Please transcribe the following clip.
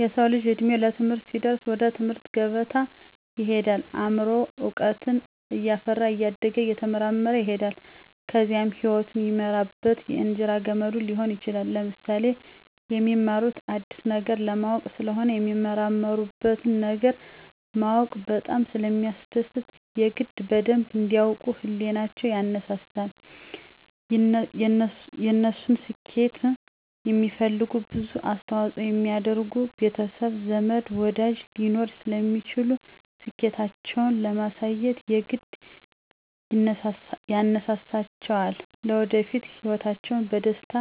የሰዉ ልጅ እድሜዉ ለትምህርት ሲደርስ ወደ ትምህርት ገበታ ይሄዳል አምሮዉም እዉቀትን እያፈራ እያደገ እየተመራመረ ይሄዳል ከዚያም ህይወቱን የሚመራበት የእንጀራ ገመዱ ሊሆን ይችላል። ለምሳሌ፦ የሚማሩት አዲስ ነገር ለማወቅ ስለሆነ የሚመራመሩበትን ነገር ማወቅ በጣም ስለሚያስደስት የግድ በደንብ እንዲ ያዉቁ ህሊቸዉ ይነሳሳል፣ የነሱን ስኬት የሚፈልጉ ብዙ አስተዋፅኦ የሚያደርጉ ቤተሰብ፣ ዘመድ፣ ወዳጅ ሊኖሩ ስለሚችሉ ስኬታቸዉን ለማሳየት የግድ ያነሳሳቸዋልለወደፊት ህይወታቸዉን በደስታ